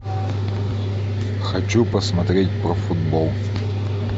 хочу посмотреть про футбол